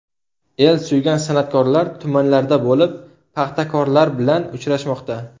El suygan san’atkorlar tumanlarda bo‘lib, paxtakorlar bilan uchrashmoqda.